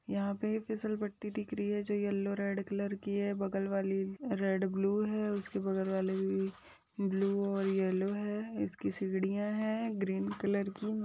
यहाँ पे फिसल पट्टी दिख रही है जो येल्लो रेड कलर की है बगल वाली रेड ब्लू है उसके बगल वाली ब्लू और येल्लो है | इसकी सीढियां हैं ग्रीन कलर की |